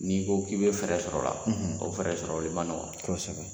N'i ko k'i be fɛɛrɛ sɔrɔ la, o fɛɛrɛ sɔrɔ li ma nɔgɔ. Kɔsɛbɛ